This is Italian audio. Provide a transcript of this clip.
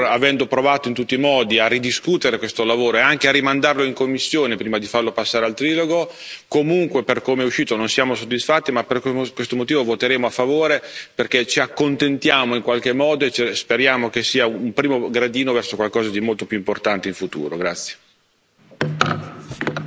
Per questo motivo, pur avendo provato in tutti i modi a ridiscutere questo lavoro e anche a rimandarlo in commissione prima di farlo passare al trilogo, comunque per come è uscito non siamo soddisfatti, ma proprio per questo motivo voteremo a favore, perché ci accontentiamo in qualche modo e speriamo che sia un primo gradino verso qualcosa di molto più importante in futuro.